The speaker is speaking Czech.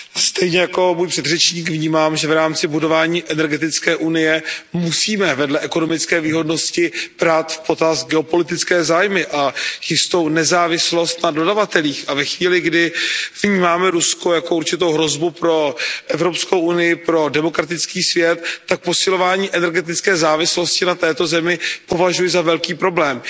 Stejně jako můj předřečník vnímám, že v rámci budování energetické unie musíme vedle ekonomické výhodnosti brát v potaz geopolitické zájmy a jistou nezávislost na dodavatelích, a ve chvíli, kdy vnímáme Rusko jako určitou hrozbu pro EU, pro demokratický svět, tak posilování energetické závislosti na této zemi považuji za velký problém.